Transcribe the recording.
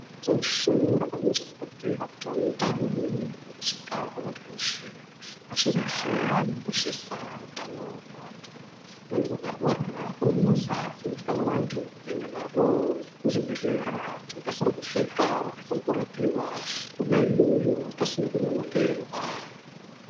Pashi reshe rinokurudzira utano kusvika kumunhu weshe. Pashi reshe rinokoshesa utano hwevanhu. Vanhu vakarwara kune movha dzinotware vanhu kuenda navo kuzvibhedhlera. Vokasire kusvika. Vokasire kurapiwa kwona iyoyo pasina kunonokerwa.